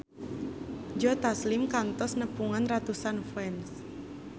Joe Taslim kantos nepungan ratusan fans